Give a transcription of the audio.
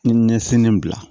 N ye ɲɛsin n bila